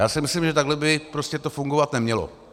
Já si myslím, že takhle by to prostě fungovat nemělo.